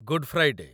good Friday